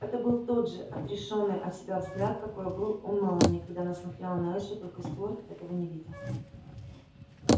это был тот же отрешённый от себя взгляд какой был у мелани когда она смотрела на эшли только стюарт этого не видел